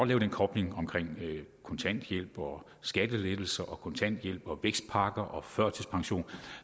lave den kobling mellem kontanthjælp og skattelettelser og kontanthjælp og vækstpakker og førtidspension